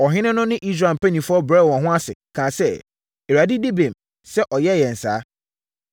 Ɔhene no ne Israel mpanimfoɔ brɛɛ wɔn ho ase, kaa sɛ, “ Awurade di bem sɛ ɔyɛɛ yɛn saa!”